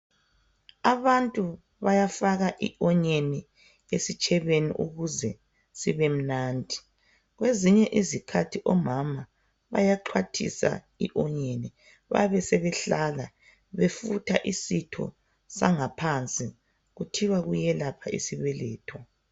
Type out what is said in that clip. Abantu bayafaka i-onyeni esitshebeni ukuze sibemnandi .Kwezinye izikhathi omama bayaxhwathisa i-onyeni, babesebehlala befutha isitho sangaphansi. Kuthiwa kuyelapha isibeletho.